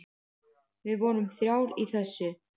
Við vorum þrjár í þessu.